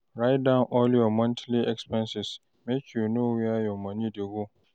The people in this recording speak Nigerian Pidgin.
Write down all your monthly expenses, make you know where your moni dey go.